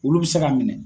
Olu bɛ se ka minɛ